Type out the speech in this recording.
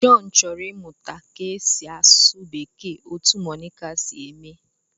John chọrọ ịmụta ka e si asụ Bekee otú Monica si eme